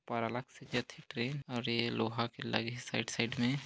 ऊपर अलग से जाथे ट्रेन और ये लोहा के लगे हे साइड- साइड में--